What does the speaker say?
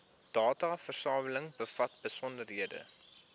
dataversameling bevat besonderhede